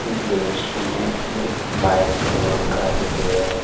इस दृश्य में एक बाइक शोरूम का चित्र है।